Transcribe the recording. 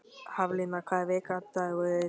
Haflína, hvaða vikudagur er í dag?